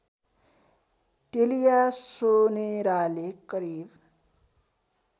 टेलिया सोनेराले करिब